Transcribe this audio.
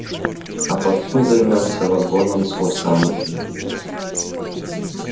а потом займёмся вагоном с курсантами